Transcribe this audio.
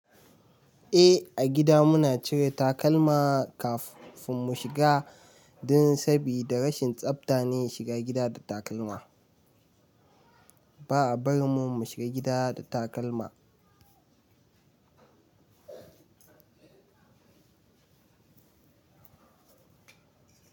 Eh, a gida muna cire takalma kafin mu shiga dan sabida rashin tsafta ne shiga gida da takalma. Ba a bar mun mu shiga gida da takalma.